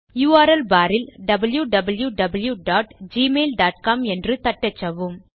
URL bar ல் wwwgmailcom என்று தட்டச்சவும்